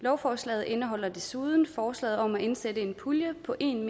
lovforslaget indeholder desuden forslag om at indsætte en pulje på en